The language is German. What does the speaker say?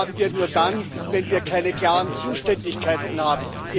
Die haben wir nur dann, wenn wir keine klaren Zuständigkeiten haben.